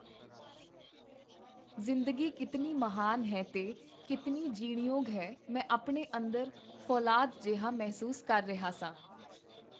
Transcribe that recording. ਜ਼ਿੰਦਗੀ ਕੀਤਨੀ ਮਹਾਨ ਹੈ ਤੇ ਕੀਤਨੀ ਜੀਣਯੋਗ ਹੈ, ਮੈਂ ਆਪਣੇ ਅੰਦਰ ਫੌਲਾਦ ਜਿਹਾ ਮਹਿਸੂਸ ਕਰ ਰਿਹਾ ਸਾਂ.